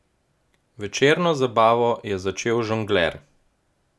Večerno zabavo je začel žongler.